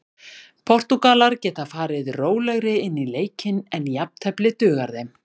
Portúgal geta farið rólegri inn í leikinn en jafntefli dugar þeim.